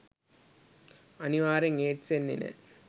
අනිවාර්යෙන් ඒඩ්ස් එන්නේ නෑ.